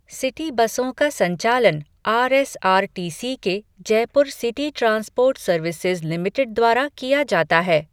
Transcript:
City बसों का संचालन R S R T C के Jaipur city transport services limited द्वारा किया जाता है।